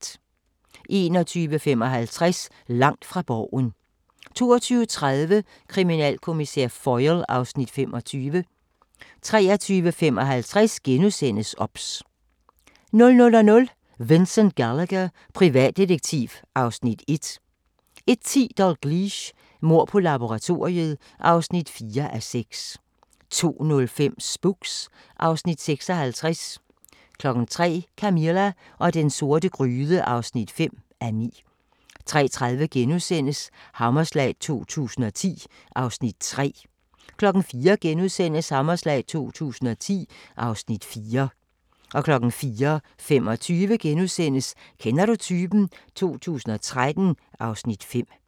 21:55: Langt fra Borgen 22:30: Kriminalkommissær Foyle (Afs. 25) 23:55: OBS * 00:00: Vincent Gallagher, privatdetektiv (Afs. 1) 01:10: Dalgliesh: Mord på laboratoriet (4:6) 02:05: Spooks (Afs. 56) 03:00: Camilla og den sorte gryde (5:9) 03:30: Hammerslag 2010 (Afs. 3)* 04:00: Hammerslag 2010 (Afs. 4)* 04:25: Kender du typen? 2013 (Afs. 5)*